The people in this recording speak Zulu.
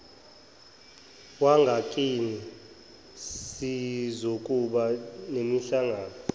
wangakini sizokuba nemihlangano